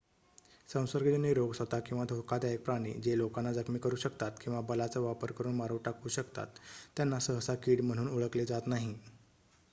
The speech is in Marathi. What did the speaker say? संसर्गजन्य रोग स्वत किंवा धोकादायक प्राणी जे लोकांना जखमी करू शकतात किंवा बलाचा वापर करून मारून टाकू शकतात त्यांना सहसा कीड म्हणून ओळखले जात नाही